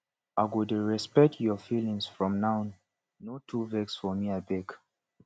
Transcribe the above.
i go dey respect your feeling from now no too vex for me abeg